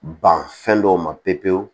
Ban fɛn dɔw ma pewu pewu